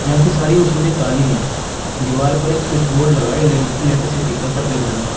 यहाँ की सारी मशीनें काली हैं। दीवार पर एक स्विच बोर्ड लगा है ले लेटासिटी का सफेद रंग का।